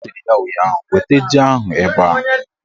Ọ sịrị ya ụnyaahụ "Weta ji ahụ ebe a"!